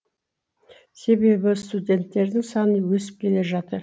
себебі студенттердің саны өсіп келе жатыр